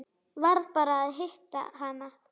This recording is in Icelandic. Varð bara að hitta hana.